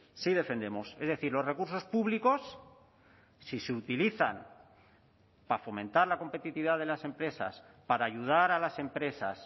sí defendemos es decir los recursos públicos si se utilizan para fomentar la competitividad de las empresas para ayudar a las empresas